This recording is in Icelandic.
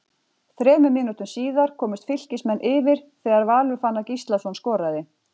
Þremur mínútum síðar komust Fylkismenn yfir þegar Valur Fannar Gíslason skoraði.